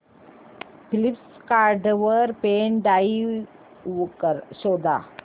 Flipkart वर pen drive शोधा